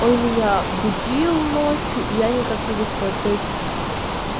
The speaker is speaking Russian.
он меня будил ночью и я никак не выспалась то есть